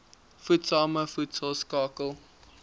voedsame voedsel skakel